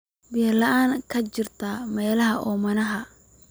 biyo la'aan ka jirta meelaha oomanaha ah.